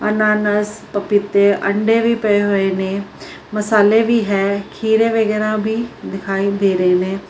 ਅਨਾਨਾਸ ਪਪੀਤੇ ਅੰਡੇ ਵੀ ਪਏ ਹੋਏ ਨੇ ਮਸਾਲੇ ਵੀ ਹੈ ਖੀਰੇ ਵੀ ਦਿਖਾਈ ਦੇ ਰਹੇ ਨੇ।